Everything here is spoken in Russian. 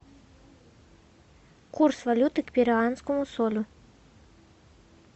курс валюты к перуанскому солю